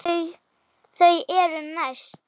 Þau eru næst.